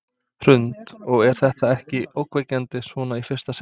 Hrund: Og er þetta ekkert ógnvekjandi svona í fyrsta sinn?